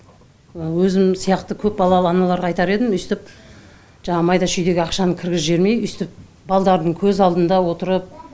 өзім сияқты көпбалалы аналарға айтар едім үйстіп жаңағы майда шүйдеге ақшаны кіргізіп жібермей үйстіп балдардың көз алдында отырып